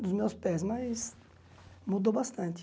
Dos meus pés, mas mudou bastante.